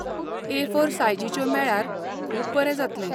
एफोर सायजिच्यो मेळ्ळ्यार खूब बरें जातलें.